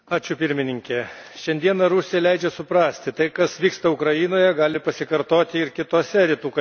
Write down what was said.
Šiandieną Rusija leidžia suprasti tai, kas vyksta Ukrainoje, gali pasikartoti ir kitose Rytų kaimynystės šalyse.